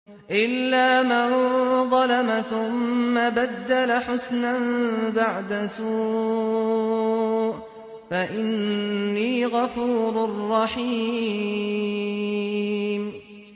إِلَّا مَن ظَلَمَ ثُمَّ بَدَّلَ حُسْنًا بَعْدَ سُوءٍ فَإِنِّي غَفُورٌ رَّحِيمٌ